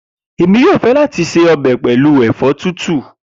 Emi yoo fẹ lati se ọbẹ pẹlu ẹfọ titun.